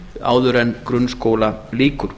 áður en grunnskóla lýkur